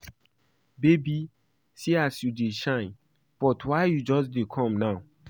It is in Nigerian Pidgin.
Babe see as you just dey shine but why you just dey come now )